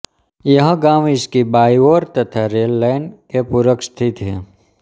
यह गाँव इसकी बाईं ओर तथा रेल लाइन के पूरब स्थित है